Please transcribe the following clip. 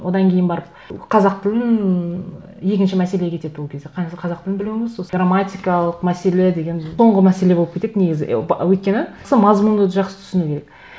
одан кейін барып қазақ тілін екінші мәселе кетеді ол кезде қазақ тілін білуіңіз сосын грамматикалық мәселе деген соңғы мәселе болып кетеді негізі өйткені сол мазмұнды жақсы түсіну керек